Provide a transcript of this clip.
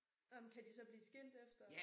Ej men kan de så blive skilt efter?